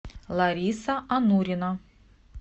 лариса анурина